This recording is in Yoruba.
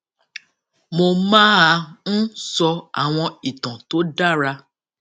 mo máa ń sọ àwọn ìtàn tó dára